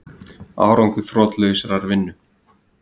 Árangur þrotlausrar vinnu